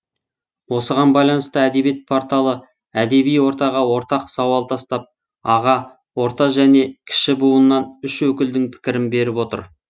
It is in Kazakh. осыған байланысты әдебиет порталы әдеби ортаға ортақ сауал тастап аға орта және кіші буыннан үш өкілдің пікірін беріп отыр